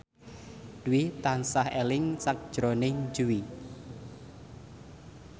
Dwi tansah eling sakjroning Jui